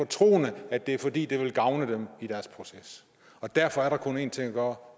troende at det er fordi det vil gavne dem i deres proces derfor er der kun én ting at gøre